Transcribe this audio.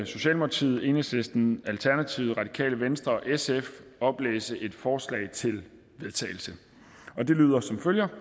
socialdemokratiet enhedslisten alternativet radikale venstre og sf oplæse et forslag til vedtagelse det lyder som følger